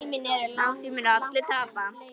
Á því munu allir tapa.